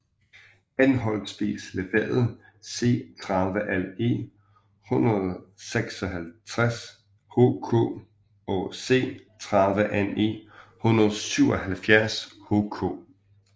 Henholdsvis leverede C30LE 156 hk og C30NE 177 hk